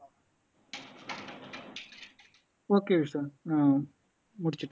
okay Vishwa ஆஹ் முடிச்